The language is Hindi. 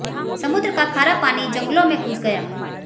समुद्र का खारा पानी जंगलों में घुस गया